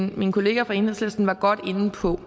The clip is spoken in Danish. min kollega fra enhedslisten var godt inde på